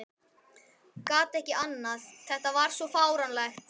Gat ekki annað, þetta var svo fáránlegt.